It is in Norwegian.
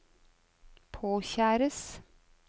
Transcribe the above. påkjæres